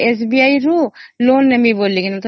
SBI ରୁ loan ନେବା ପାଇଁ